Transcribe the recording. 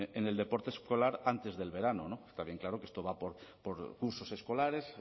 en el deporte escolar antes del verano no está bien claro que esto va por cursos escolares